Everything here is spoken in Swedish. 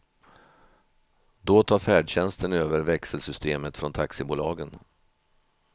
Då tar färdtjänsten över växelsystemet från taxibolagen.